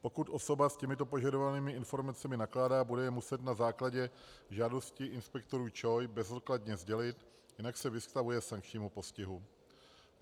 Pokud osoba s těmito požadovanými informacemi nakládá, bude je muset na základě žádosti inspektorů ČOI bezodkladně sdělit, jinak se vystavuje sankčnímu postihu.